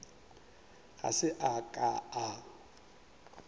ga se a ka a